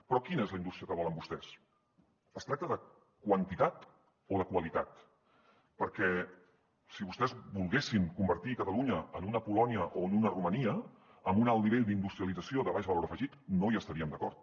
però quina és la indústria que volen vostès es tracta de quantitat o de qualitat perquè si vostès volguessin convertir catalunya en una polònia o en una romania amb un alt nivell d’industrialització de baix valor afegit no hi estaríem d’acord